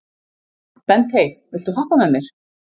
Bentey, viltu hoppa með mér?